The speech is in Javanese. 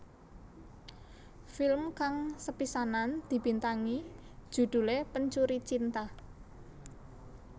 Film kang sepisanan dibintangi judhulé Pencuri Cinta